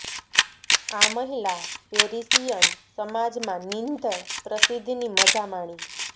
આ મહિલા પેરિસિયન સમાજ માં નિંદ્ય પ્રસિદ્ધિની મજા માણી